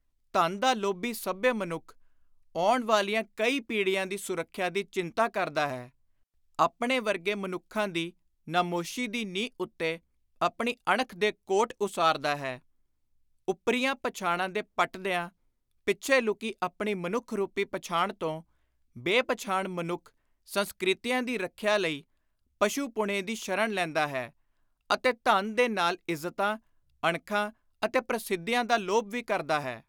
ਧਨ ਦਾ ਲੋਭੀ ਸੱਭਿਅ ਮਨੁੱਖ, ਆਉਣ ਵਾਲੀਆਂ ਕਈ ਪੀੜ੍ਹੀਆਂ ਦੀ ਸੁਰੱਖਿਆ ਦੀ ਚਿੰਤਾ ਕਰਦਾ ਹੈ; ਆਪਣੇ ਵਰਗੇ ਮਨੁੱਖਾਂ ਦੀ ਨਮੋਸ਼ੀ ਦੀ ਨੀਂਹ ਉੱਤੇ ਆਪਣੀ ਅਣਖ ਦੇ ਕੋਟ ਉਸਾਰਦਾ ਹੈ; ਓਪਰੀਆਂ ਪਛਾਣਾਂ ਦੇ ਪਟਦਿਆਂ ਪਿੱਛੇ ਲੁਕੀ ਆਪਣੀ ‘ਮਨੁੱਖ’ ਰੁਪੀ ਪਛਾਣ ਤੋਂ ਬੇ-ਪਛਾਣ ਮਨੁੱਖ ਸੰਸਕ੍ਰਿਤੀਆਂ ਦੀ ਰੱਖਿਆ ਲਈ ਪਸ਼ੁ-ਪੁਣੇ ਦੀ ਸ਼ਰਨ ਲੈਂਦਾ ਹੈ; ਅਤੇ ਧਨ ਦੇ ਨਾਲ ਇੱਜ਼ਤਾਂ, ਅਣਖਾਂ ਅਤੇ ਪ੍ਰਸਿੱਧੀਆਂ ਦਾ ਲੋਭ ਵੀ ਕਰਦਾ ਹੈ।